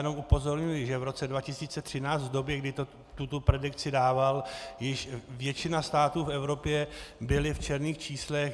Jenom upozorňuji, že v roce 2013 v době, kdy tuto predikci dával, již většina států v Evropě byla v černých číslech.